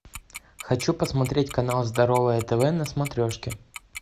хочу посмотреть канал здоровое тв на смотрешке